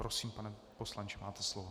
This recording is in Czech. Prosím, pane poslanče, máte slovo.